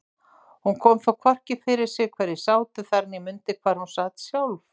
Hún kom þó hvorki fyrir sig hverjir sátu þar né mundi hvar hún sat sjálf.